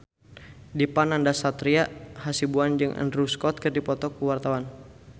Dipa Nandastyra Hasibuan jeung Andrew Scott keur dipoto ku wartawan